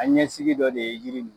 An ɲɛsigi dɔ de ye yiri